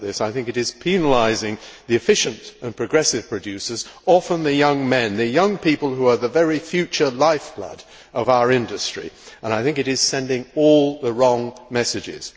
I think it is penalising the efficient and progressive producers often the young men, the young people who are the very future lifeblood of our industry and I think it is sending all the wrong messages.